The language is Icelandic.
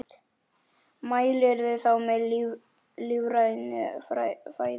Mælirðu þá með lífrænu fæði?